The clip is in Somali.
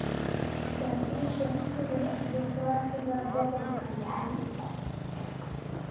bal ii sheeg sida juqraafiga gobolkani yahay